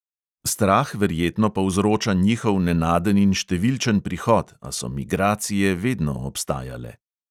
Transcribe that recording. Strah verjetno povzroča njihov nenaden in številčen prihod, a so migracije vedno obstajale.